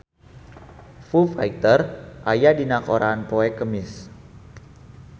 Foo Fighter aya dina koran poe Kemis